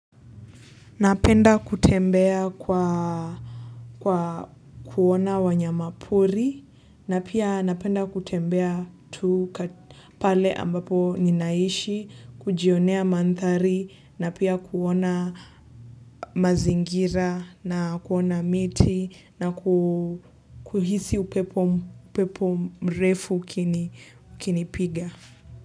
Napenda kutembea kwa kuona wanyamapori na pia napenda kutembea tu pale ambapo ninaishi kujionea manthari na pia kuona mazingira na kuona miti na kuhisi upepo mrefu kinipiga.